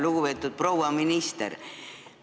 Lugupeetud proua minister!